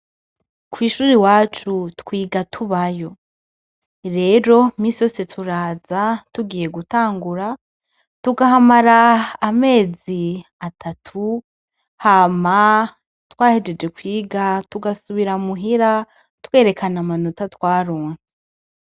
Kw'ishuri wacu twiga tubayo rero misi yose turaza tugiye gutangura tugahamara amezi atatu hama twahejeje kwiga tugasubira muhira twerekana amanota twaronse.